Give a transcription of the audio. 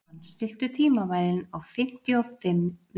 Frímann, stilltu tímamælinn á fimmtíu og fimm mínútur.